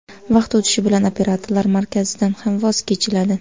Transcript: Vaqt o‘tishi bilan operatorlar markazidan ham voz kechiladi.